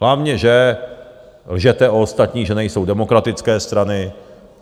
Hlavně že lžete o ostatních, že nejsou demokratické strany.